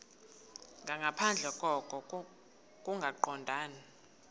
nangaphandle koko kungaqondani